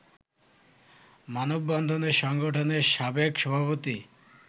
মানববন্ধনে সংগঠনের সাবেক সভাপতি